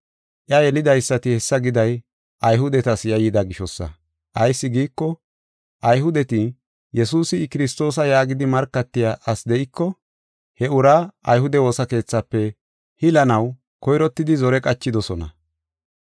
Iya yelidaysati hessa giday Ayhudetas yayyida gishosa. Ayis giiko, Ayhudeti, Yesuusi I Kiristoosa yaagidi markatiya asi de7iko he uraa ayhude woosa keethafe hilanaw koyrottidi zore qachidosona.